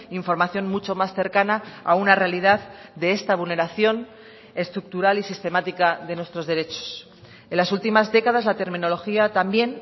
información mucho más cercana a una realidad de esta vulneración estructural y sistemática de nuestros derechos en las últimas décadas la terminología también